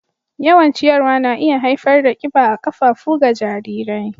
Yawan ciyarwa na iya haifar da kiba a ƙafafu ga jarirai.